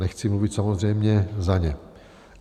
Nechci mluvit samozřejmě za ně.